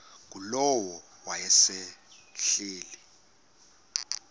ngulowo wayesel ehleli